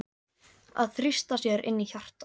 Að þrýsta sér inn í hjartað.